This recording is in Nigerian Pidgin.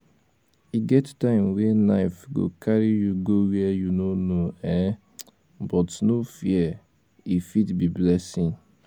e get time wey life go carry you go where you no know um but no um fear e fit be blessing